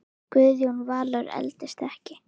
Guðjón Valur eldist ekki.